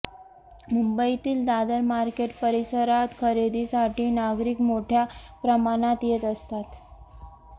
मुंबईतील दादर मार्केट परिसरात खरेदीसाठी नागरिक मोठ्या प्रमाणात येत असतात